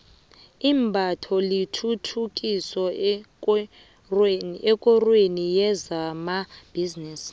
imbatho lithuthukile ekorweni yezamabhizinisi